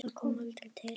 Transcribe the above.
Það kom aldrei til.